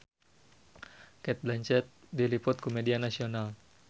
Cate Blanchett diliput ku media nasional